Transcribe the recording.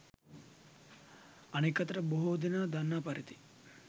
අනෙක් අතට බොහෝ දෙනා දන්නා පරිදි